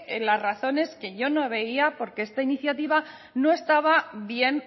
en las razones que yo no veía porque esta iniciativa no estaba bien